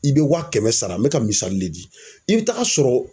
I be wa kɛmɛ sara, n be ka misali le di. I be taa sɔrɔ